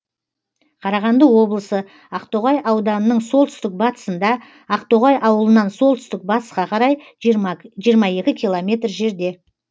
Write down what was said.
қарағанды облысы ақтоғай ауданының солтүстік батысында ақтоғай ауылынан солтүстік батысқа қарай жиырма екі километр жерде